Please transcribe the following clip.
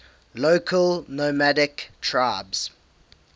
local nomadic tribes